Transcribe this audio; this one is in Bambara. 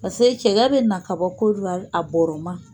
Paseke cɛkɛ bɛ na ka bɔ Kodiwari a bɔɔrɔ ma.